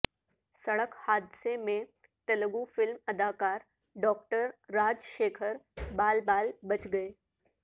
سڑک حادثہ میں تلگو فلم اداکار ڈاکٹر راج شیکھر بال بال بچ گئے